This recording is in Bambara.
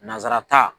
Nanzara ta